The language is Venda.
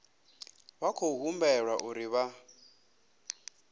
vha khou humbelwa uri vha